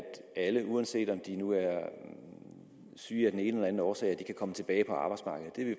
alle uanset om de nu er syge af den ene eller den anden årsag kan komme tilbage på arbejdsmarkedet det